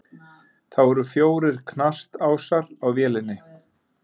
Þá eru fjórir knastásar á vélinni.